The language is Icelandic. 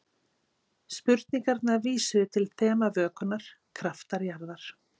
Spurningarnar vísuðu til þema vökunnar: Kraftar jarðar.